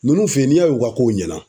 Nunnu fe yen, n'i y'a ye u ka kow ɲɛna